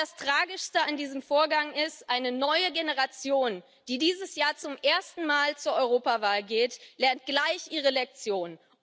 Damen und Herren, das Tragischste an diesem Vorgang ist Eine neue Generation, die dieses Jahr zum ersten Mal zur Europawahl geht, lernt gleich ihre Lektion.